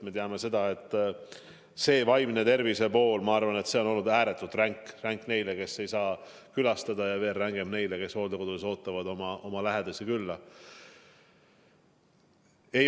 Me teame, et vaimse tervise pool, ma arvan, on olnud ääretult ränk – ränk neile, kes ei saa külastada, ja veel rängem neile, kes hooldekodudes ootavad oma lähedasi külla.